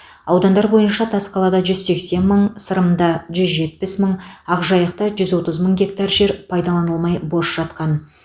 аудандар бойынша тасқалада жүз сексен мың сырымда жүз жетпіс мың ақжайықта жүз отыз мың гектар жер пайдаланылмай бос жатқан